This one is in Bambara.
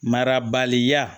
Mara baliya